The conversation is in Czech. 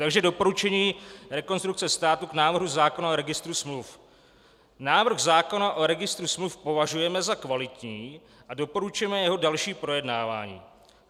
Takže doporučení Rekonstrukce státu k návrhu zákona o registru smluv: "Návrh zákona o registru smluv považujeme za kvalitní a doporučujeme jeho další projednávání.